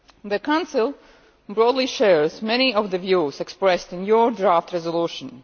The Council broadly shares many of the views expressed in your draft resolution.